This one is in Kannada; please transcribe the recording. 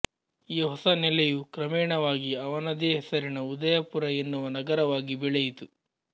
ಈ ಹೊಸ ನೆಲೆಯು ಕ್ರಮೇಣವಾಗಿ ಅವನದೇ ಹೆಸರಿನ ಉದಯಪುರ ಎನ್ನುವ ನಗರವಾಗಿ ಬೆಳೆಯಿತು